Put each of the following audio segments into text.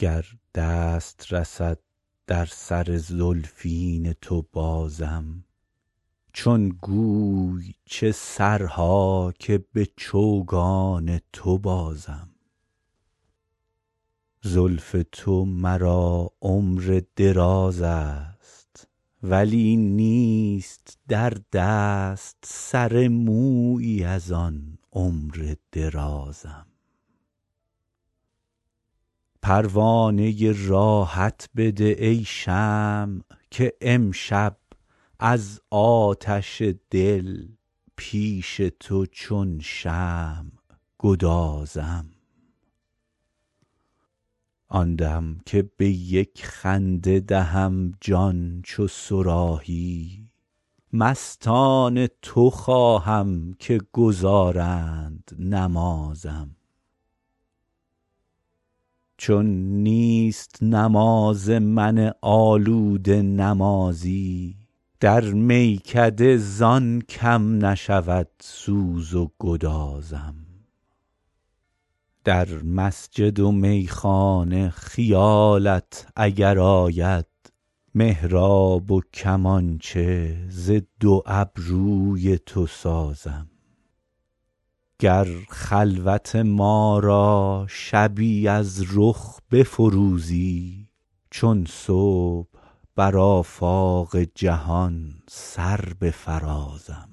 گر دست رسد در سر زلفین تو بازم چون گوی چه سرها که به چوگان تو بازم زلف تو مرا عمر دراز است ولی نیست در دست سر مویی از آن عمر درازم پروانه راحت بده ای شمع که امشب از آتش دل پیش تو چون شمع گدازم آن دم که به یک خنده دهم جان چو صراحی مستان تو خواهم که گزارند نمازم چون نیست نماز من آلوده نمازی در میکده زان کم نشود سوز و گدازم در مسجد و میخانه خیالت اگر آید محراب و کمانچه ز دو ابروی تو سازم گر خلوت ما را شبی از رخ بفروزی چون صبح بر آفاق جهان سر بفرازم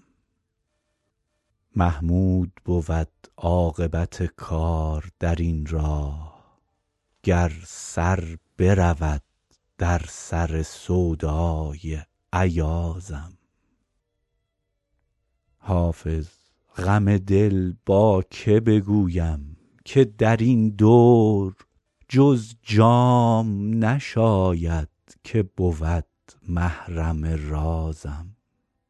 محمود بود عاقبت کار در این راه گر سر برود در سر سودای ایازم حافظ غم دل با که بگویم که در این دور جز جام نشاید که بود محرم رازم